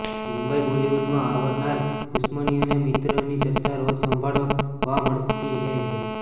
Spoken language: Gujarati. મુંબઈઃ બોલિવૂડમાં અવારનવાર દુશ્મની અને મિત્રતાની ચર્ચા રોજ સાંભળવા મળતી હે છે